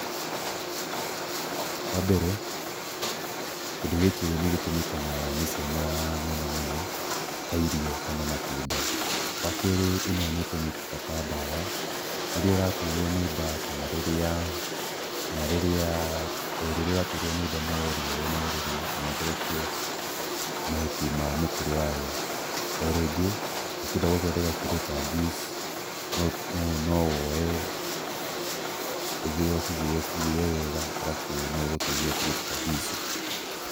Wa mbere, kĩndũ gĩkĩ nĩ gĩtũmĩkanaga nĩ ciana mũno mũno, ta irio kana matunda, wa kerĩ ĩno nĩ ĩtũmĩkaga ta dawa. Rĩrĩa ũraturwo nĩ nda kana rĩrĩa, kana rĩrĩa, ĩ rĩrĩa ũraturwo nĩ nda no ũrĩoye na ũrĩrĩe kana ũtherũkie mahuti ma mĩtĩ yayo. O rĩngĩ ũkĩenda gũthondeka kĩndũ ta juice no woe, ũthĩe, ũcithĩe cithĩe wega, arabu no ĩgũteithie kũruta juice.